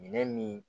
Minɛn min